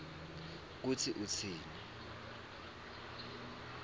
kutsi utsini